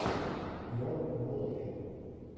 мор волфи